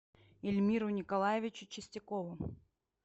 ильмиру николаевичу чистякову